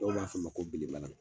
Dɔw b'a fɔ a ma ko belebala.